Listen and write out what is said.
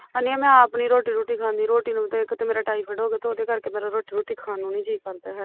ਅੜੀਏ ਮੈਂ ਤਾਂ ਆਪ ਨੀ ਰੋਟੀ ਰੁਟੀ ਖਾਂਦੀ ਰੋਟੀ ਨੂੰ ਇੱਕ ਤੇ ਮੇਰਾ ਥਇਫੈਡ ਹੋਗਿਆ ਉਹਦੇ ਕਰਕੇ ਮੇਰਾ ਰੋਟੀ ਰੁਟੀ ਖਾਣ ਨੂੰ ਨੀ ਜੀਅ ਕਰਦਾ ਹੈਗਾ